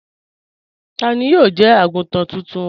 Tani yóò jẹ́ àgùntàn tóntún wa?